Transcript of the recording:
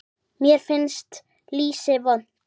Mér finnst lýsi vont